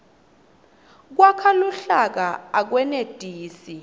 kwakha luhlaka akwenetisi